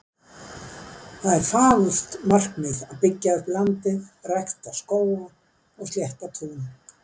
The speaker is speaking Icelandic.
Það er fagurt markmið að byggja upp landið, rækta skóga og slétta tún.